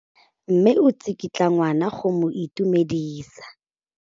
Mme o tsikitla ngwana go mo itumedisa.